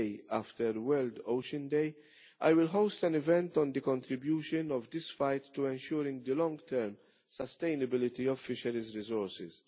The day after World Ocean Day I will host an event on the contribution of this fight to ensuring the long term sustainability of fisheries resources.